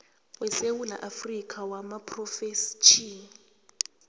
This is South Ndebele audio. wesewula afrika wamaphrofetjhini